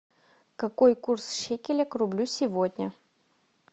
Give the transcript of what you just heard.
какой курс шекеля к рублю сегодня